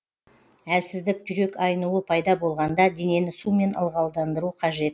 әлсіздік жүрек айнуы пайда болғанда денені сумен ылғалдандыру қажет